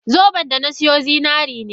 Zoben da na siyo zinari ne.